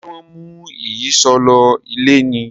ṣe wón mú Ìyíṣòó ló ilé ní?